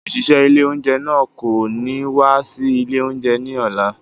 Òṣìṣẹ́ ilé oúnjẹ náà kò ní wá sí ilé oúnjẹ ni ọ̀la.